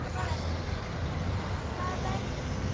ÞAÐ VERÐUR